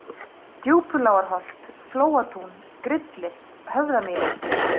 Djúpulágarholt, Flóatún, Grillir, Höfðamýri